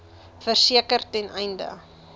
verseker ten einde